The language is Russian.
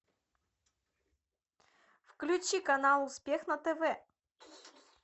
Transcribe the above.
включи канал успех на тв